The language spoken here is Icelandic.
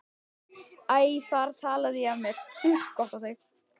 Æ, þar talaði ég af mér!